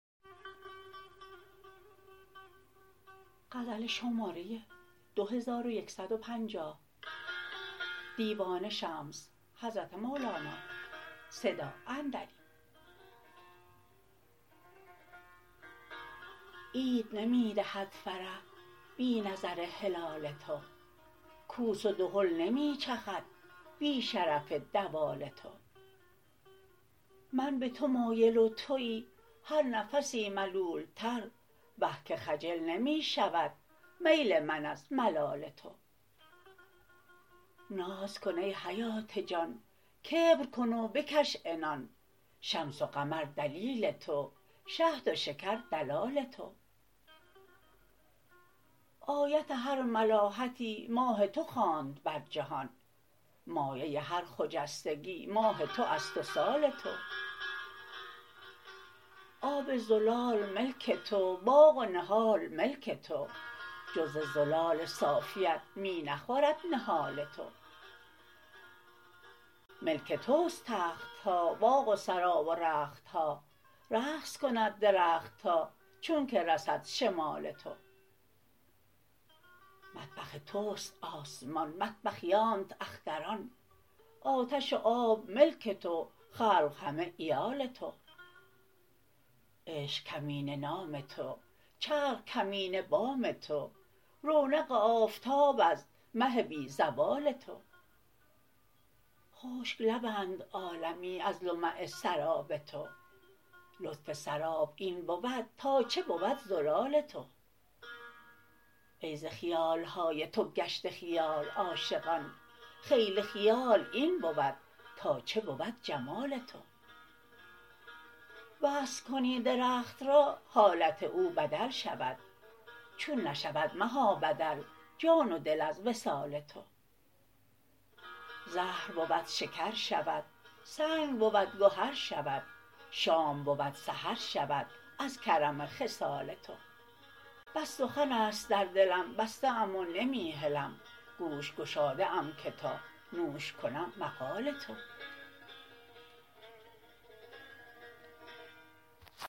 عید نمی دهد فرح بی نظر هلال تو کوس و دهل نمی چخد بی شرف دوال تو من به تو مایل و توی هر نفسی ملولتر وه که خجل نمی شود میل من از ملال تو ناز کن ای حیات جان کبر کن و بکش عنان شمس و قمر دلیل تو شهد و شکر دلال تو آیت هر ملاحتی ماه تو خواند بر جهان مایه هر خجستگی ماه تو است و سال تو آب زلال ملک تو باغ و نهال ملک تو جز ز زلال صافیت می نخورد نهال تو ملک تو است تخت ها باغ و سرا و رخت ها رقص کند درخت ها چونک رسد شمال تو مطبخ توست آسمان مطبخیانت اختران آتش و آب ملک تو خلق همه عیال تو عشق کمینه نام تو چرخ کمینه بام تو رونق آفتاب ها از مه بی زوال تو خشک لبند عالمی از لمع سراب تو لطف سراب این بود تا چه بود زلال تو ای ز خیال های تو گشته خیال عاشقان خیل خیال این بود تا چه بود جمال تو وصل کنی درخت را حالت او بدل شود چون نشود مها بدل جان و دل از وصال تو زهر بود شکر شود سنگ بود گهر شود شام بود سحر شود از کرم خصال تو بس سخن است در دلم بسته ام و نمی هلم گوش گشاده ام که تا نوش کنم مقال تو